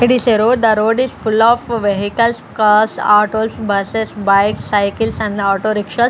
it is a road the road is full of vehicles cars autos buses bikes cycles and autorickshaws.